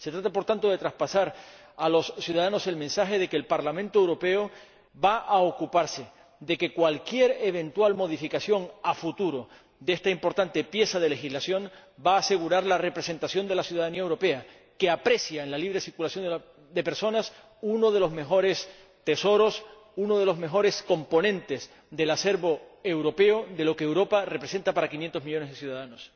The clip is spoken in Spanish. Se trata, por tanto, de transmitir a los ciudadanos el mensaje de que el Parlamento Europeo va a ocuparse de que cualquier eventual modificación, en el futuro, de esta importante pieza de legislación asegure la representación de la ciudadanía europea, que aprecia en la libre circulación de personas uno de los mejores tesoros, uno de los mejores componentes del acervo europeo, de lo que Europa representa para 500 millones de ciudadanos.